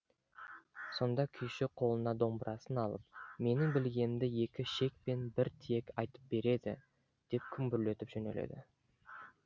сонда күйші қолына домбырасын алып менің білгенімді екі шек пен бір тиек айтып береді деп күмбірлетіп жөнеледі